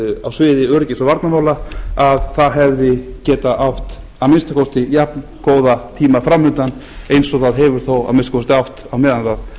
á sviði öryggis og varnarmála hefði getað átt að minnsta kosti jafngóða tíma framundan eins og það hefur þó að minnsta kosti átt á meðan